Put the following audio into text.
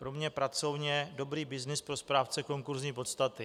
Pro mě pracovně dobrý byznys pro správce konkursní podstaty.